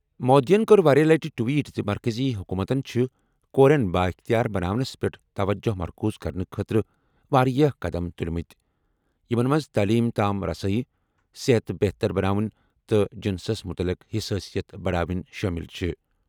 مودیَن کٔر واریٛاہ لَٹہِ ٹویٹ زِ مرکٔزی حکوٗمتَن چھِ کورٮ۪ن بااختیار بناونَس پٮ۪ٹھ توجہ مرکوز کرنہٕ خٲطرٕ واریاہ قدم تُلۍمٕتۍ، یِمَن منٛز تعلیم تام رسٲیی، صحت بہتر بناوٕنۍ تہٕ جنسَس متعلق حساسیت بڑاوٕنۍ شٲمِل چھِ۔